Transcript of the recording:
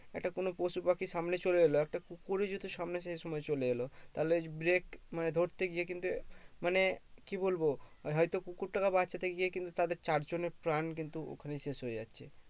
একটা কোনো পশু পাখি সামনে চলে এলো একটা কুকুরই যদি সামনে সেই সময় চলে এলো তাহলে break মানে ধরতে গিয়ে কিন্তু মানে কি বলবো হয়তো কুকুরটাকে বাঁচাতে গিয়ে কিন্তু তাদের চার জনের প্রাণ কিন্তু ওখানেই শেষ হয়ে যাচ্ছে